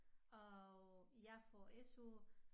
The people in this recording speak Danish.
Og jeg får SU